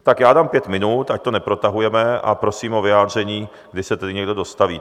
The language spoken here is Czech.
Tak já dám pět minut, ať to neprotahujeme, a prosím o vyjádření, kdy se tedy někdo dostaví.